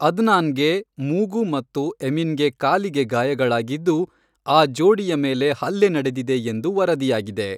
ಅದ್ನಾನ್ಗೆ ಮೂಗು ಮತ್ತು ಎಮಿನ್ಗೆ ಕಾಲಿಗೆ ಗಾಯಗಳಾಗಿದ್ದು, ಆ ಜೋಡಿಯ ಮೇಲೆ ಹಲ್ಲೆ ನಡೆದಿದೆ ಎಂದು ವರದಿಯಾಗಿದೆ.